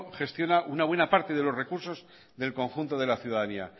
gestiona una buena parte de los recursos del conjunto de la ciudadanía